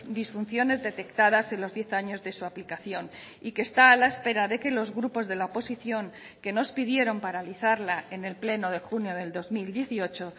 disfunciones detectadas en los diez años de su aplicación y que está a la espera de que los grupos de la oposición que nos pidieron paralizarla en el pleno de junio del dos mil dieciocho